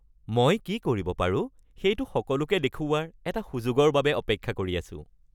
মই কি কৰিব পাৰো সেইটো সকলোকে দেখুওৱাৰ এটা সুযোগৰ বাবে অপেক্ষা কৰি আছোঁ।